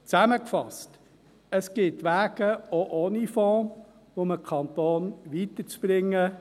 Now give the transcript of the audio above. Zusammengefasst: Es gibt Wege auch ohne Fonds, um den Kanton weiterzubringen.